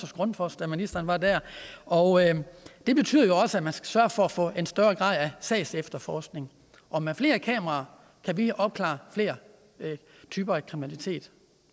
grundfos da ministeren var der og det betyder jo også at man skal sørge for at få en større grad af sagsefterforskning og med flere kameraer kan vi opklare flere typer af kriminalitet